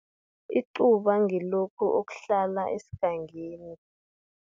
Icuba, ngilokha okuhlala esigangeni.